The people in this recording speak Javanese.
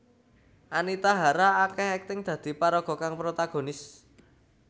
Anita Hara akéh akting dadi paraga kang protagonis